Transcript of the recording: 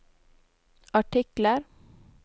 artikler